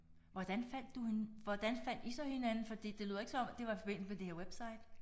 Hvordan fandt du hende hvordan fandt I så hinanden fordi det lyder ikke som om det var i forbindelse med det her website?